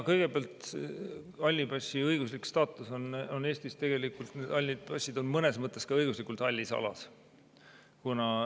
Kõigepealt, halli passi õiguslik staatus on Eestis selline, et tegelikult hallid passid on mõnes mõttes ka õiguslikult hallis alas.